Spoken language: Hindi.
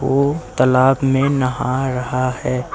वो तलाब में नहा रहा है।